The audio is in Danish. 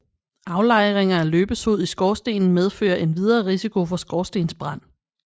Aflejringer af løbesod i skorstenen medfører endvidere risiko for skorstensbrand